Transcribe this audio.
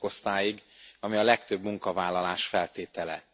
10. osztályig, ami a legtöbb munkavállalás feltétele.